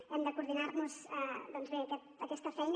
hem de coor·dinar·nos bé en aquesta feina